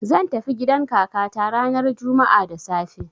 zan tafi gidan kakata ranar juma'a da safe.